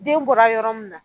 Den bɔla yɔrɔ mun na